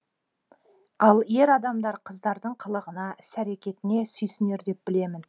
ал ер адамдар қыздардың қылығына іс әрекетіне сүйсінер деп білемін